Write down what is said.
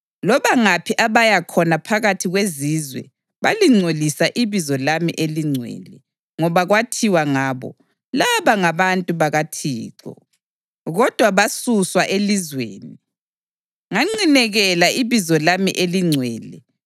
Loba ngaphi abaya khona phakathi kwezizwe balingcolisa ibizo lami elingcwele, ngoba kwathiwa ngabo, ‘Laba ngabantu bakaThixo, kodwa basuswa elizweni.’